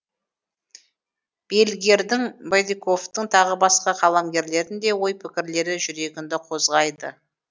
бельгердің бадиковтың тағы басқа қаламгерлердің де ой пікірлері жүрегіңді қозғайды